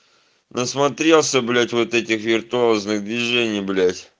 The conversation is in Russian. насмотрелся блять вот этих виртуозных движений блять